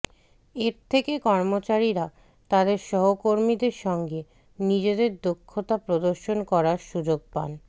এর থেকে কর্মচারীরা তাদের সহকর্মীদের সঙ্গে নিজেদের দক্ষতা প্রদর্শন করার সুযোগ পান